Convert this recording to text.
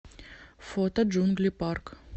фото джунгли парк